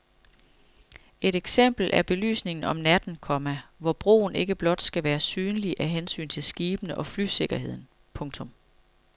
Et eksempel er belysningen om natten, komma hvor broen ikke blot skal være synlig af hensyn til skibene og flysikkerheden. punktum